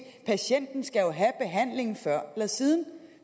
patienten skal jo have behandlingen før eller siden